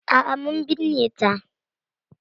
A'a mun binne ta.